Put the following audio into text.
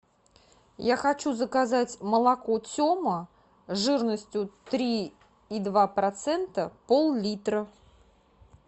я хочу заказать молоко тема жирностью три и два процента пол литра